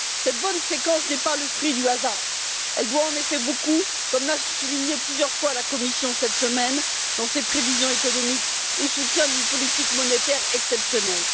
Cette bonne séquence n'est pas le fruit du hasard, elle doit en effet beaucoup comme l'a souligné plusieurs fois la Commission cette semaine dans ses prévisions économiques au soutien d'une politique monétaire exceptionnelle.